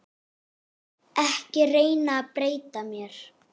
Ekki reyna að breyta mér.